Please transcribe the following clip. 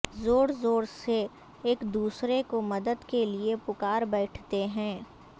زور زور سے ایکدوسرے کو مدد کے لئے پکار بیٹھتے ہیں